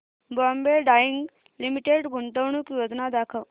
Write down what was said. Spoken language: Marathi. बॉम्बे डाईंग लिमिटेड गुंतवणूक योजना दाखव